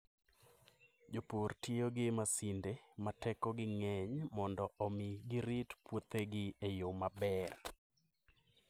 Jopur tiyo gi masinde ma tekogi ng'eny mondo omi girit puothegi e yo maber.